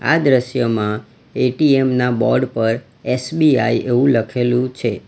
આ દ્રશ્યમાં એ_ટી_એમ ના બોર્ડ પર એસ_બી_આઈ એવું લખેલું છે.